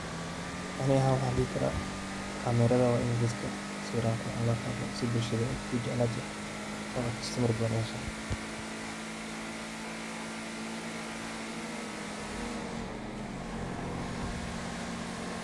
Anika waxan dehi karah, camera rathan wa in saeeran lisgaka Qathoh saweeran Qoorxoon setha bulshada ku jeeclatoh. Oo kastamar badan u hesho.